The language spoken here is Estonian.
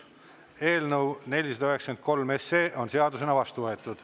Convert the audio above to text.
Eelnõu 493 on seadusena vastu võetud.